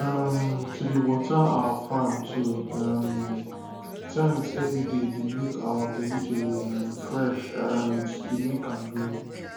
um to dey water our farm two um times everyday dey make our vegetables um fresh and dey make am green